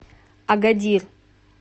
агадир